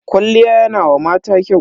Kwalliya yana wa mata kyau.